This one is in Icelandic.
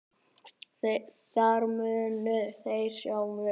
Þar munu þeir sjá mig.